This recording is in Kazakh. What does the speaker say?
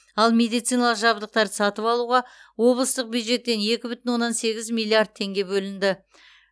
ал медициналық жабдықтарды сатып алуға облыстық бюджеттен екі бүтін оннан сегіз миллиард теңге бөлінді